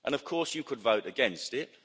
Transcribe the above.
Of course, you could vote against it.